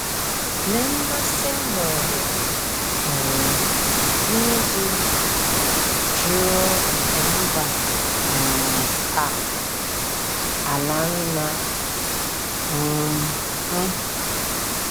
Lee mmasị m nwere um n’ịdị jụụ nke mba um a, ala nna um m!